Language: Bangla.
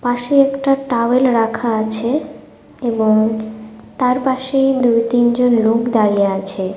পাশে একটা টাওয়েল রাখা আছে এবং তার পাশেই দুই তিন জন লোক দাঁড়িয়ে আছে।